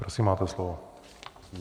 Prosím, máte slovo.